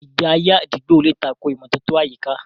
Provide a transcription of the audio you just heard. Ìgbé ayé àdúgbò lè tako ìmọ́tótó àyíká.